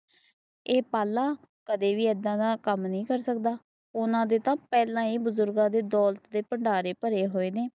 ਏ ਪਾਲਾ! ਕਦੇ ਵੀ ਐਦਾਂ ਦਾ ਕੰਮ ਨੀ ਕਰ ਸਕਦਾ ਐਨਾ ਦੇ ਤਾਂ ਪਹਿਲਾਂ ਈ ਬੁਜ਼ੁਰਗਾਂ ਦੇ ਦੌਲਤ ਦੇ ਭੰਡਾਰੇ ਭਰੇ ਹੋਏ ਨੇ